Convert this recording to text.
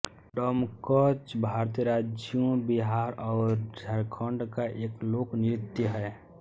डमकच भारतीय राज्यों बिहार और झारखंड का एक लोक नृत्य है